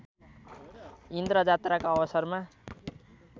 इन्द्रजात्राका अवसरमा